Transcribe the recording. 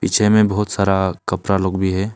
पीछे में बहुत सारा कपड़ा लोग भी है।